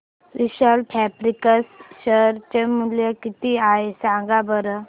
विशाल fabrics share चे मूल्य किती आहे सांगा बरं